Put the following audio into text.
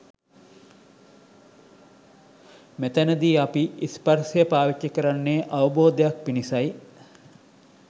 මෙතැනදී අපි ස්පර්ශය පාවිච්චි කරන්නේ අවබෝධයක් පිණිසයි.